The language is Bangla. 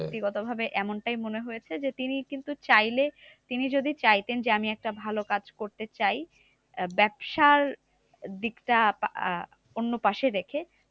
ব্যাক্তিগত ভাবে এমনটাই মনে হয়েছে যে, তিনি কিন্তু চাইলে তিনি যদি চাইতেন যে, আমি একটা ভালো কাজ করতে চাই ব্যাবসার দিকটা আহ অন্য পাশে রেখে।